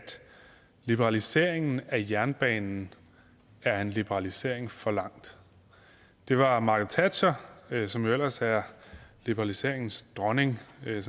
liberaliseringen af jernbanen er en liberalisering for langt det var margaret thatcher som jo ellers er liberaliseringens dronning sådan